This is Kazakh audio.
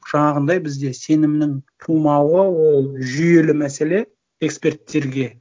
жаңағындай бізде сенімнің тумауы ол жүйелі мәселе эксперттерге